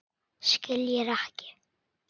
Skiljir ekki.